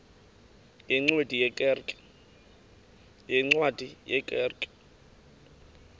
yeencwadi ye kerk